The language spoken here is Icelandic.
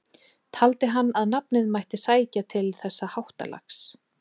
Taldi hann að nafnið mætti sækja til þessa háttalags.